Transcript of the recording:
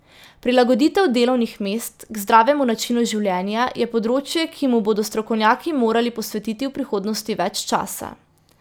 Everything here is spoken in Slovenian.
Prilagoditev delovnih mest k zdravemu načinu življenja je področje, ki mu bodo strokovnjaki morali posvetiti v prihodnosti več časa.